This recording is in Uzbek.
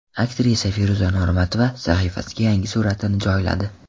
Aktrisa Feruza Normatova sahifasiga yangi suratini joyladi.